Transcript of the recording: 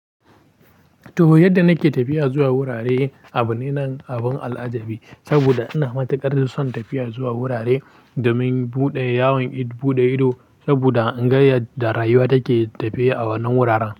To, yadda na ke tafiya zuwa wurare abu ne na abun al'ajabi. Saboda ina matuƙar son tafiya zuwa wurare domin buɗe yawon id, buɗe ido. Saboda in ga yadda rayuwa take tafiya a wannan wuraren.